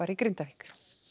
í Grindavík